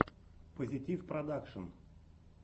позитивпродакшн